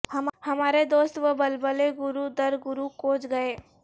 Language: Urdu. ہمارے دوست و بلبلیں گروہ در گروہ کوچ گئے